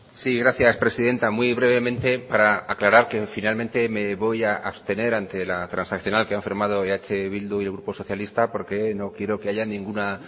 sí gracias presidenta muy brevemente para aclarar que finalmente me voy a abstener ante la transaccional que han firmado eh bildu y el grupo socialista porque no quiero que haya ninguna